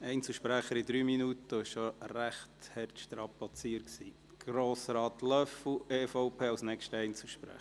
Den Einzelsprechern stehen 3 Minuten Redezeit zur Verfügung, und diese 3 Minuten sind bereits arg strapaziert worden.